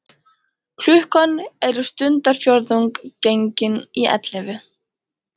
Klukkan er stundarfjórðung gengin í ellefu.